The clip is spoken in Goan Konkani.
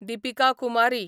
दिपिका कुमारी